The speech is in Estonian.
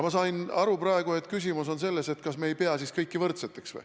Ma sain aru praegu, et küsimus on selles, kas me ei pea siis kõiki võrdseteks.